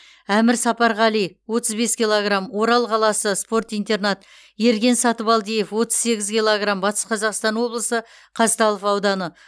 әмір сапарғали отыз бес килограм орал қаласы спорт интернат ерген сатыбалдиев отыз сегіз килограм батыс қазақстан облысы қазталов ауданы